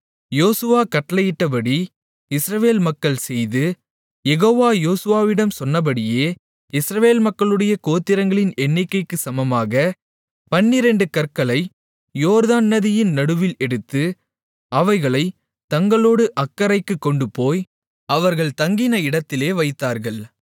யோசுவா கட்டளையிட்டபடி இஸ்ரவேல் மக்கள் செய்து யெகோவா யோசுவாவிடம் சொன்னபடியே இஸ்ரவேல் மக்களுடைய கோத்திரங்களின் எண்ணிக்கைக்குச் சமமாகப் பன்னிரண்டு கற்களை யோர்தான் நதியின் நடுவில் எடுத்து அவைகளைத் தங்களோடு அக்கரைக்குக் கொண்டுபோய் அவர்கள் தங்கின இடத்திலே வைத்தார்கள்